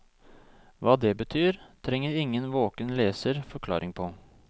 Hva det betyr, trenger ingen våken leser forklaring på.